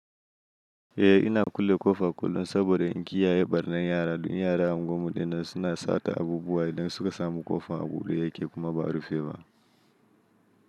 Eh ina kulle ƙofa kullum saboda in kiyaye ɓarnan yara da in yara a guwar mu din nan suna sata abubuwa idan suka samu ƙofan a buɗe yake kuma ba rufe ba.